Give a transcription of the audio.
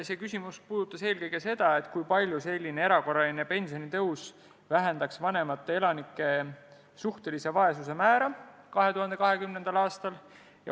See puudutas eelkõige seda, kui palju selline erakorraline pensionitõus vähendaks vanemate elanike suhtelise vaesuse määra 2020. aastal.